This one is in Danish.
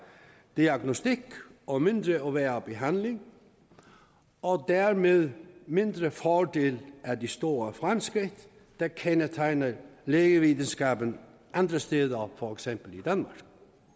diagnostik og mindre og værre behandling og dermed mindre fordel af de store fremskridt der kendetegner lægevidenskaben andre steder for eksempel i danmark